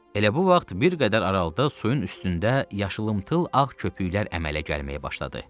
Elə bu vaxt bir qədər aralıda suyun üstündə yaşımtıl ağ köpüklər əmələ gəlməyə başladı.